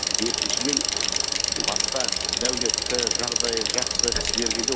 екіншіден басқа дәулетті жағдайы жақсы кісілерге де